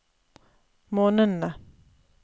månedene